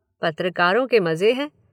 पत्रकारों के मज़े हैं।